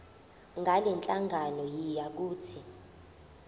ngalenhlangano yiya kut